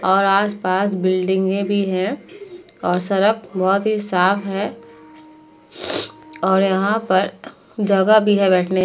और आस-पास बिल्डिंगें भी हैं और सड़क बहोत ही साफ़ है और यहाँ पर जगह भी है बैठने --